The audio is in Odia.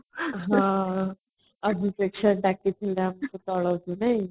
ହଁ ତଳକୁ ନାଇଁ |